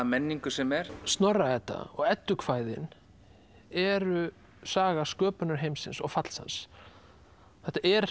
menningu sem er Snorra Edda og eddukvæði eru saga sköpunar heimsins og falls hans þetta er